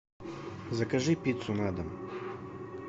закажи пиццу на дом